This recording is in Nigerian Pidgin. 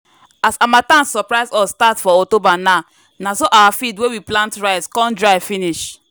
as harmattan surprise us start for october na na so our field wey we plant rice con dry finish.